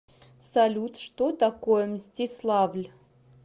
салют что такое мстиславль